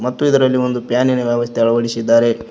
ಮತ್ತು ಇದರಲ್ಲಿ ಒಂದು ಫ್ಯಾನಿನ ವ್ಯವಸ್ಥೆ ಅಳವಡಿಸಿದ್ದಾರೆ.